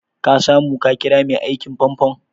Ka samu ka ƙira mai aikin famfon?